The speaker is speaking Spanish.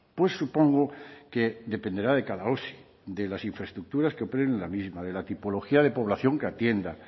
pues supongo que dependerá de cada osi de las infraestructuras que operen en la misma de la tipología de población que atienda